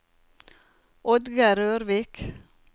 Oddgeir Rørvik